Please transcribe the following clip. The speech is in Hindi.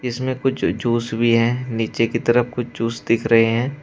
इसमें कुछ जूस भी हैं नीचे की तरफ कुछ जूस दिख रहे हैं।